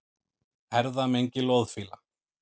Erfðamengi loðfíla